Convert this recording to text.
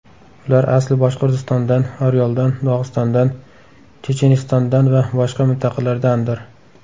Ular asli Boshqirdistondan, Oryoldan, Dog‘istondan, Chechenistondan va boshqa mintaqalardandir.